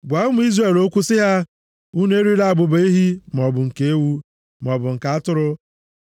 “Gwa ụmụ Izrel okwu sị ha, ‘Unu erila abụba ehi, maọbụ nke ewu, maọbụ nke atụrụ.